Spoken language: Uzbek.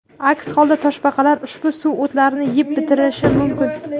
Aks holda toshbaqalar ushbu suvo‘tlarni yeb bitirishi mumkin.